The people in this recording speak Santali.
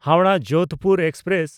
ᱦᱟᱣᱲᱟᱦ–ᱡᱳᱫᱷᱯᱩᱨ ᱮᱠᱥᱯᱨᱮᱥ